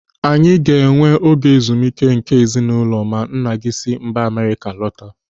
Anyị ga-enwe oge ezumike nke ezinụlọ ma nna m si mba Amerịka lọta.